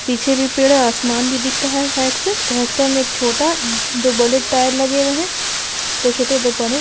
पीछे भी पेड़ है आसमान भी दिख रहा है साइड से में एक छोटा दो बड़े टायर लगे हुए हैं दो छोटे दो बड़े |